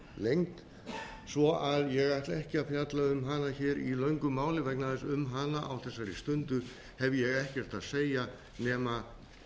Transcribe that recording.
lengd svo ég ætla ekki að fjalla um hana í löngu máli vegna þess að um hana á þessari stundu hef ég ekkert að segja nema